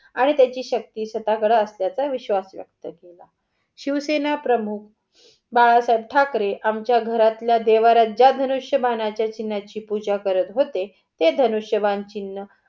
आणि त्याची शक्ती कडे असल्याच्या विश्वास केला. शिवसेना प्रमुख बाळासाहेब ठाकरे आमच्या घरातल्या देव्हाऱ्यात ज्या धनुष्य बाण्याची चिन्हाची पूजा करत होते, ते धनुष्य